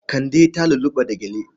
Kande ta lulluɓa da gyale.